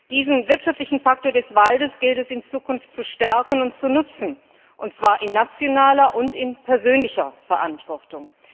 Diesen wirtschaftlichen Faktor des Waldes gilt es in Zukunft zu stärken und zu nutzen, und zwar in nationaler und in persönlicher Verantwortung.